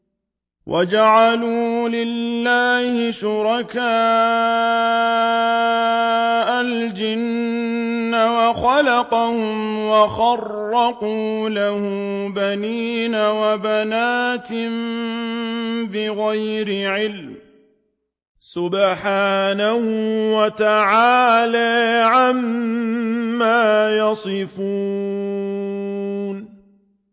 وَجَعَلُوا لِلَّهِ شُرَكَاءَ الْجِنَّ وَخَلَقَهُمْ ۖ وَخَرَقُوا لَهُ بَنِينَ وَبَنَاتٍ بِغَيْرِ عِلْمٍ ۚ سُبْحَانَهُ وَتَعَالَىٰ عَمَّا يَصِفُونَ